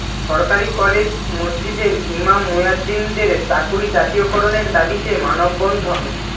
সরকারি কলেজ মসজিদের ইমাম মুয়াজ্জিনদের চাকুরী জাতীয়করণের দাবিতে মানববন্ধন